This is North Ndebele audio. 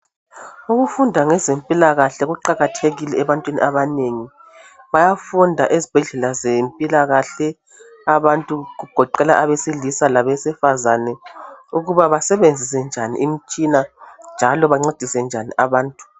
Ukufunda ngemikhuhlane kuqakathekile ebantwini abanengi. Bayafunda ezibhedlela zempilakahle abantu kugoqela abesilisa labesifazana ukuba basebenzise njani imitshina njalo bancedise njani abantu.